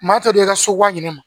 Maa tɛ d'i ka so wa ɲe ma